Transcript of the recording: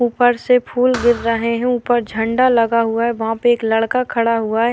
ऊपर से फूल गिर रहे हैं। ऊपर झंडा लगा हुआ है। वहाँ पे एक लड़का खड़ा हुआ है।